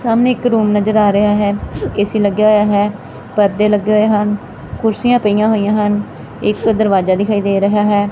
ਸਾਹਮਣੇ ਇੱਕ ਰੂਮ ਨਜ਼ਰ ਆ ਰਿਹਾ ਹੈ ਏ_ਸੀ ਲੱਗਿਆ ਹੋਇਆ ਹੈ ਪਰਦੇ ਲੱਗੇ ਹੋਏ ਹਨ ਕੁਰਸੀਆਂ ਪਈਆਂ ਹੋਈਆਂ ਹਨ ਇਸ ਤਰਫ ਦਰਵਾਜਾ ਦਿਖਾਈ ਦੇ ਰਿਹਾ ਹੈ।